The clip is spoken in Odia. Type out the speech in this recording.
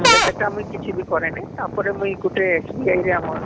ବୋଇଲେ ସେଟା ମୁଇଁ କିଛି ବି କରେନି ତାପରେ ମୁଇଁ ଗୁଟେ SBI ରେ ଆମର